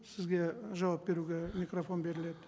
сізге жауап беруге микрофон беріледі